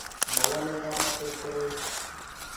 Mawale ng'omnotet koroi.